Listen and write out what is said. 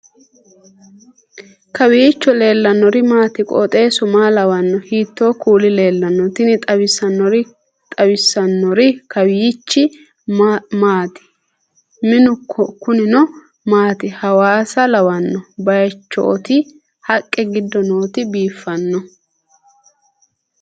kowiicho leellannori maati ? qooxeessu maa lawaanno ? hiitoo kuuli leellanno ? tini xawissannori kawiichi maati minu kunino maati hawasa lawanno baychooti haqqe giddo nootino biiffino